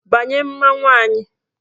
Banye mmanwụ anyị!